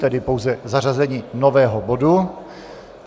Tedy pouze zařazení nového bodu.